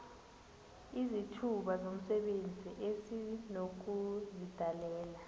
izithuba zomsebenzi esinokuzidalela